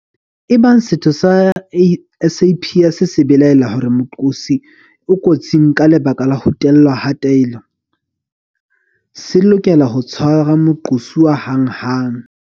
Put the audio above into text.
Ebang setho sa SAPS se belaela hore moqosi o kotsing ka lebaka la ho tellwa ha taelo, se lokela ho tshwara moqosuwa hanghang.